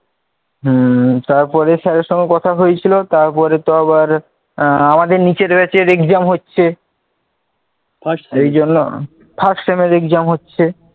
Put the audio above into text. হম তারপরে sir এর সঙ্গে কথা হয়েছিল তারপরে তো আবার, আমাদের নিচের batch এর exam হচ্ছে বাস এই জন্য first এর exam হচ্ছে